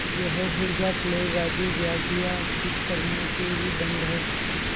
यह हैजाप्लेग आदि व्याधियाँ दुष्कर्मों के ही दंड हैं